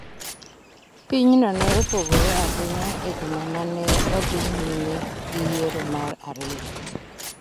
Pinyno ne opogore ahinya e juma ma ne odhi nyime gi yiero mar ariyo.